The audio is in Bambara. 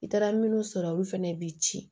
I taara minnu sɔrɔ olu fana bɛ ci